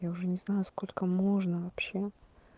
я уже не знаю сколько можно вообще